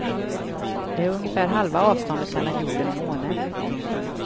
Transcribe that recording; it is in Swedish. Det är ungefär halva avståndet mellan jorden och månen.